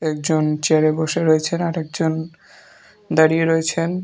একজন চেয়ারে বসে রয়েছেন আর একজন দাঁড়িয়ে রয়েছেন।